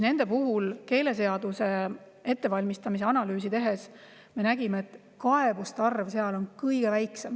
Nende puhul me nägime keeleseaduse ettevalmistamisel analüüsi tehes, et kaebuste arv on seal kõige väiksem.